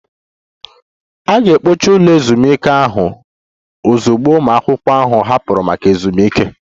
A ga-ekpochi ụlọ ezumike ahụ ozugbo ụmụ akwụkwọ ahụ hapụrụ maka ezumike